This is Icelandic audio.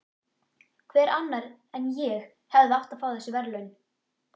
Hver annar en ég hefði átt að fá þessi verðlaun?